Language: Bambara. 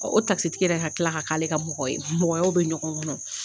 o takisitigi yɛrɛ ka tila ka k' ale ka mɔgɔ ye mɔgɔyaw bɛ bɛ ɲɔgɔn kɔnɔ.